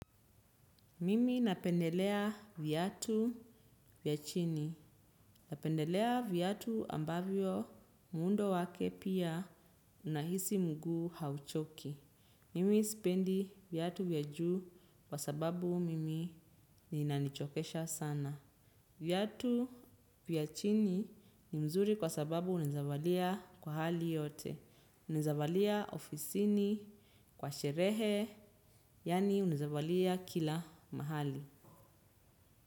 Mimi napendelea viatu vya chini napendelea viatu ambavyo muundo wake pia unahisi mguu hauchoki. Mimi sipendi viatu vya juu kwa sababu mimi inanichokesha sana. Viatu vya chini ni mzuri kwa sababu unaezavalia kwa hali yote. Unaeza valia ofisini kwa sherehe yaani unaeza valia kila mahali.